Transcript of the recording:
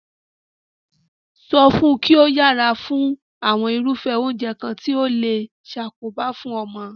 So fun ki o yera fún àwon irúfé oúnje kan ti o le sakoba fun omo